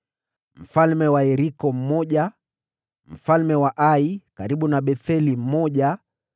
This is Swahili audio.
mfalme wa Yeriko mmoja mfalme wa Ai (karibu na Betheli) mmoja